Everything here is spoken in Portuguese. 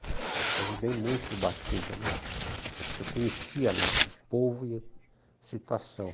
Eu ajudei muito o Ubatuba, né, porque eu conhecia lá o povo e a situação.